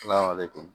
Ala le bɛ